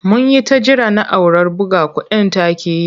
Mun yi ta jira na'urar buga kuɗin ta ƙi yi.